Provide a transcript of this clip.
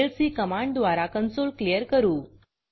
CLC command द्वारा consoleकॉन्सोलक्लियर करू